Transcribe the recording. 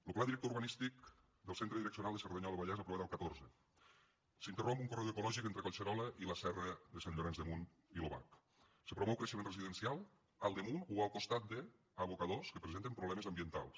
lo pla director urbanístic del centre direccional de cerdanyola del vallès aprovat el catorze s’interromp un corredor ecològic entre collserola i la serra de sant llorenç de munt i l’obac se promou creixement residencial al damunt o al costat d’abocadors que presenten problemes ambientals